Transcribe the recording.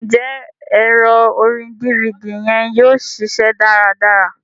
Njẹ ẹrọ orin DVD yẹn yóò ṣiṣẹ dáradára?